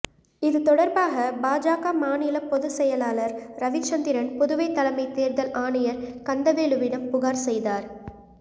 இதுதொடர்பாக பாஜக மாநில பொதுச்செயலாளர் ரவிச்சந்திரன் புதுவை தலைமை தேர்தல் ஆணையர் கந்தவேலுவிடம் புகார் செய்தார்